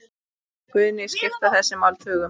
Guðný: Skipta þessi mál tugum?